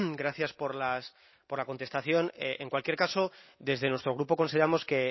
gracias por la contestación en cualquier caso desde nuestro grupo consideramos que